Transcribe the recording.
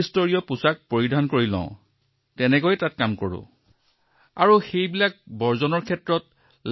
গতিকে সকলো প্ৰটকল আন্তৰ্জাতিক মানদণ্ডৰ আমি তিনিটা স্তৰৰ পোচাকেৰে পৰীক্ষাগাৰলৈ যাওঁ আৰু কাম কৰো